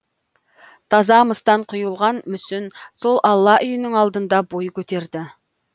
таза мыстан құйылған мүсін сол алла үйінің алдында бой көтерді